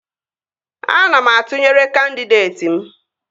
Ana m atụnyere kandịdeeti m